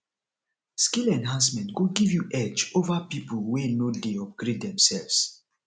skill enhancement go give you edge over people wey no dey upgrade themselves